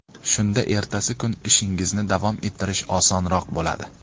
Shunda ertasi kun ishingizni davom ettirish osonroq bo‘ladi.